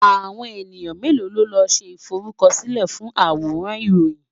Àwọn ènìyàn mélòó ló ń ṣe ìforúkọsílẹ̀ fún àwòrán Ìròyìn?